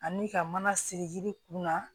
Ani ka mana siri yiri kunna